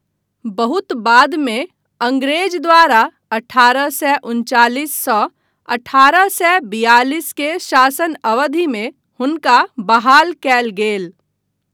बहुत बादमे अङ्ग्रेज द्वारा अठारह सए उनचालिस सँ अठारह सए बियालिस के शासन अवधिमे हुनका बहाल कयल गेल।